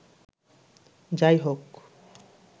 যা-ই হোক